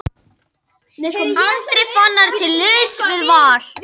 Andri Fannar til liðs við Val